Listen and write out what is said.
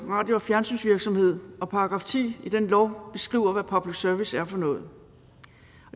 radio og fjernsynsvirksomhed og § ti i den lov beskriver hvad public service er for noget